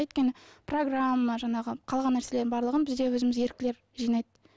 өйткені программа жаңағы қалған нәрселердің барлығын бізде өзіміз еріктілер жинайды